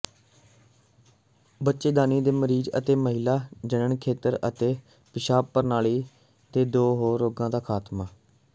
ਬੱਚੇਦਾਨੀ ਦੇ ਮਰੀਜ਼ ਅਤੇ ਮਹਿਲਾ ਜਨਣ ਖੇਤਰ ਅਤੇ ਪਿਸ਼ਾਬ ਪ੍ਰਣਾਲੀ ਦੇ ਹੋਰ ਰੋਗਾਂ ਦਾ ਖਾਤਮਾ